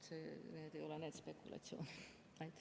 Need ei ole need spekulatsioonid.